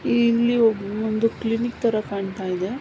ಇಲ್ಲಿ ಒಂದು ಕ್ಲಿನಿಕ್ ತರ ಕಾಣತ್ತಾಯಿದೆ.